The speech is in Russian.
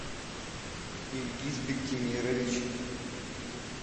ильгиз биктимирович